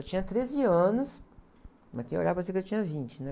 Eu tinha treze anos, mas para quem olhava, parecia que eu tinha vinte, né?